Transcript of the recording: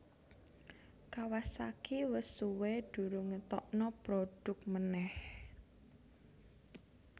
Kawasaki wes suwe durung ngetokno produk maneh